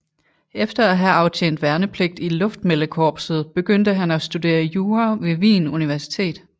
Efter at have aftjent værnepligt i luftmeldekorpset begyndte han at studere jura ved Wien Universitet